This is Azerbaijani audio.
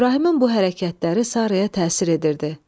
İbrahimin bu hərəkətləri Saraya təsir edirdi.